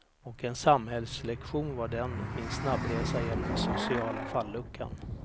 Och en samhällslektion var den, min snabbresa genom den sociala falluckan.